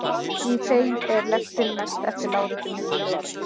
Í þeim er lektin mest eftir láréttum millilögum.